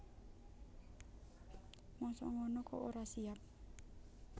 Mosok ngono kok ora siap